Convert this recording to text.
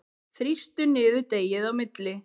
Þrýstu niður deigið á milli.